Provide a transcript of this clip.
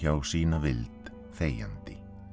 sína vild þegjandi